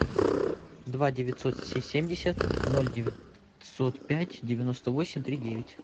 два девятьсот семьдесят ноль девятьсот пять девяносто восемь три девять